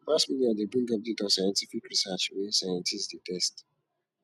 mass media de bring updates on scientific research wey scientist de test